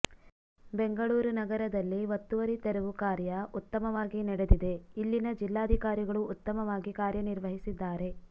ಬೆಂಗಳೂರು ನಗರದಲ್ಲಿ ಒತ್ತುವರಿ ತೆರವು ಕಾರ್ಯ ಉತ್ತಮವಾಗಿ ನಡೆದಿದೆ ಇಲ್ಲಿನ ಜಿಲ್ಲಾಧಿಕಾರಿಗಳು ಉತ್ತಮವಾಗಿ ಕಾರ್ಯನಿರ್ವಹಸಿದ್ದಾರೆ